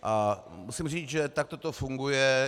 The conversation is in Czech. A musím říct, že takto to funguje.